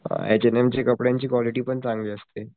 H and M च्या कपड्यांची quality पण चांगली असते.